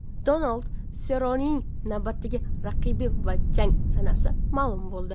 Donald Serronening navbatdagi raqibi va jang sanasi ma’lum bo‘ldi.